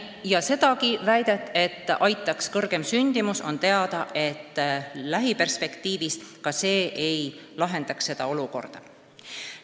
Ja mis puutub väitesse, et aitaks suurem sündimus, siis on teada, et lähiperspektiivis ka see ei lahendaks olukorda.